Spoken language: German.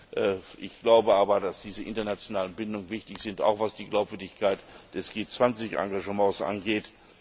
Aber ich glaube, dass diese internationalen Bindungen wichtig sind, auch was die Glaubwürdigkeit des G20 Engagements angeht.